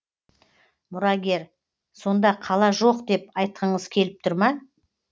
мұрагер сонда қала жоқ деп айтқыңыз келіп тұр ма